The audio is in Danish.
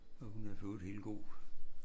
Og hun er forøvrigt helt god